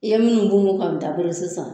I ye min mugu mugu k'an dabɔ sisan